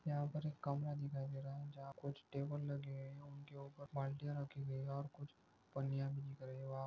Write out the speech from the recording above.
यहा पर एक कमरा दिखाई दे रहा है जहा कुच्छ टेबल लगे है उनके उपर बाल्टिया रखी हुई है और कुच्छ पनीया वगैरे वहा--